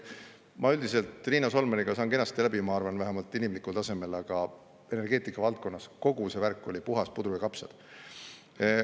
Ma üldiselt Riina Solmaniga saan kenasti läbi, ma arvan, vähemalt inimlikul tasemel, aga kogu see värk energeetikavaldkonna kohta oli puhas puder ja kapsad.